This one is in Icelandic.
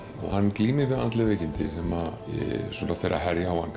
hann glímir við andleg veikindi sem fara að herja á hann